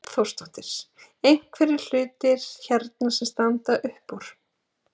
Hrund Þórsdóttir: Einhverjir hlutir hérna sem standa upp úr?